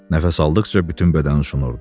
Nəfəs aldıqca bütün bədəni şonurdu.